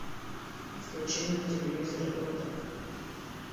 включи мне на телевизоре доктор